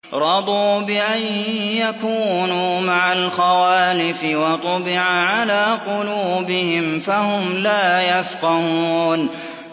رَضُوا بِأَن يَكُونُوا مَعَ الْخَوَالِفِ وَطُبِعَ عَلَىٰ قُلُوبِهِمْ فَهُمْ لَا يَفْقَهُونَ